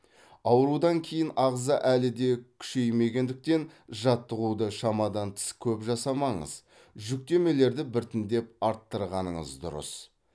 аурудан кейін ағза әлі де күшеймегендіктен жаттығуды шамадан тыс көп жасамаңыз жүктемелерді біртіндеп арттырғаныңыз дұрыс